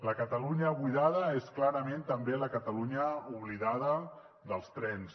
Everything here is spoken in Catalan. la catalunya buidada és clarament també la catalunya oblidada dels trens